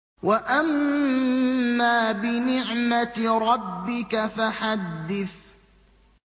وَأَمَّا بِنِعْمَةِ رَبِّكَ فَحَدِّثْ